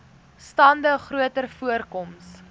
stande groter voorkoms